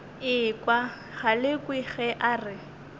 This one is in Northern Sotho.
ekwa galekwe ge a re